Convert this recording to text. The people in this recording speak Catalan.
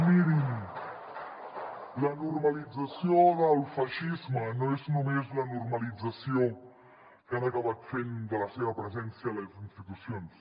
i mirin la normalització del feixisme no és només la normalització que han acabat fent de la seva presència a les institucions